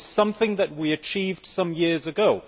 It is something that we achieved some years ago.